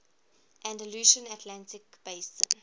andalusian atlantic basin